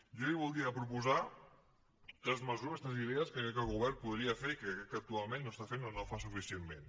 jo li voldria proposar tres mesures tres idees que crec que el govern podria fer i que crec que actualment no està fent o no fa suficientment